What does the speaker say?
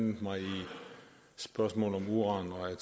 mig i spørgsmål om uran og